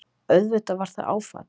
Auðvitað var það áfall.